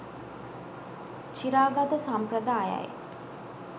චිරාගත සම්ප්‍රදායයි